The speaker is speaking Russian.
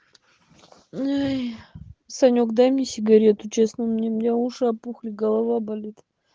ой санек дай мне сигарету честно у меня уши опухли голова болит